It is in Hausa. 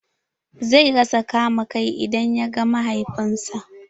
Zai rasa kama kai idan ya ga mahaifin sa.